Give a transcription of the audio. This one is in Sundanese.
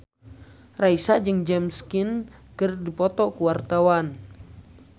Raisa jeung James Caan keur dipoto ku wartawan